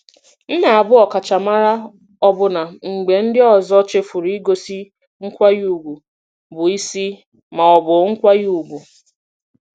M na-abụ ọkachamara ọbụna mgbe ndị ọzọ chefuru igosi nkwanye ùgwù bụ isi ma ọ bụ nkwanye ùgwù.